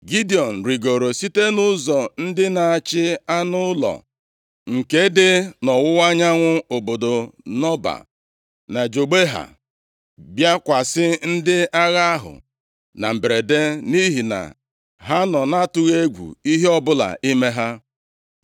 Gidiọn rigoro site ụzọ ndị na-achị anụ ụlọ nke dị nʼọwụwa anyanwụ obodo Nọba na Jogbeha, bịakwasị ndị agha ahụ na mberede nʼihi na ha nọ nʼatụghị egwu ihe ọbụla ime ha.